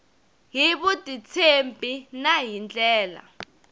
hi vutitshembi na hi ndlela